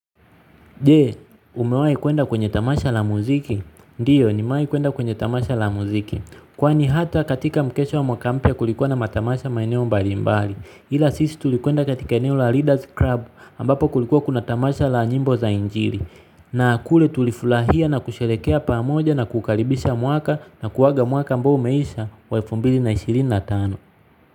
Je, umewahi kwenda kwenye tamasha la muziki? Ndiyo, nimewahi kwenda kwenye tamasha la muziki. Kwani hata katika mkesha wa mwaka mpya kulikuwa na matamasha maeneo mbalimbali. Ila sisi tulikwenda katika eneo la Leaders Club ambapo kulikuwa kuna tamasha la nyimbo za injili. Na kule tulifurahia na kusherehekea pamoja na kukaribisha mwaka na kuaga mwaka ambao umeisha wa elfu mbili na ishirini na tano.